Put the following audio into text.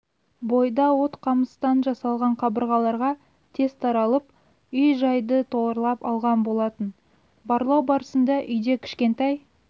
бойда от қамыстан жасалған қабырғаларға тез таралып үй-жайды торлап алған болатын барлау барысында үйде кішкентай